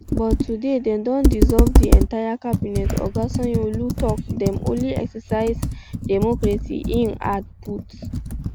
but today dem don dissolve di entire cabinet oga sanyaolu tok dem only exercise democracy im add um put